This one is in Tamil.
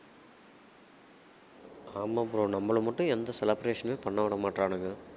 ஆமா bro நம்மள மட்டும் எந்த celebration மே பண்ண விடமாட்றானுங்க